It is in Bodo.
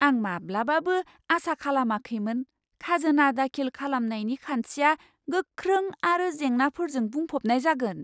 आं माब्लाबाबो आसा खालामाखैमोन खाजोना दाखिल खालामनायनि खान्थिया गोख्रों आरो जेंनाफोरजों बुंफबनाय जागोन!